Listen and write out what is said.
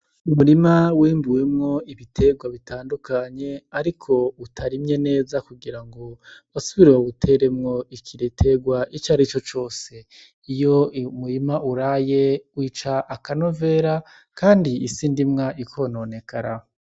Umurima wimbuwemwo ibiterwa bitandukanye ariko utarimye neza kugira ngo basubire bawuteremwo igiterwa icarico cose . Iyo umurima uraye wica akanovera kandi isi ndimwa ikononekara.